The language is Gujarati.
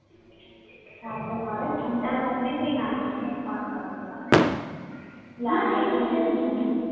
આ તો કરને તારા મમ્મી પણ ના ગમે હા એ તો છે જ ને